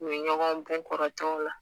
U ye ɲɔgɔnw bon kɔrɔtɛw la